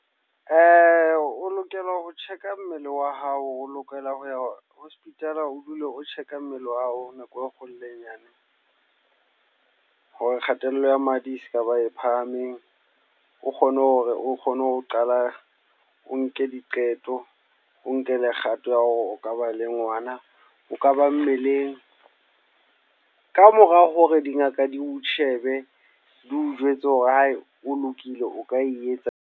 O lokela ho check-a mmele wa hao. O lokela ho ya hospital o dule o check-a mmele wa hao nako e kgolo le e nyane. Hore kgatello ya madi e skaba e phahameng, o kgone hore o kgone ho qala o nke diqeto, o nkele kgato ya hore o ka ba le ngwana. O ka ba mmeleng, kamora hore dingaka di o shebe di o jwetse hore hae o lokile o ka e etsa.